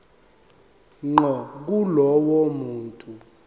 ngqo kulowo muntu